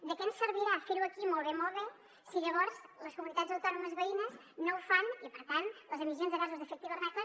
de què ens servirà fer ho aquí molt bé molt bé si llavors les comunitats autònomes veïnes no ho fan i per tant les emissions de gasos d’efecte hivernacle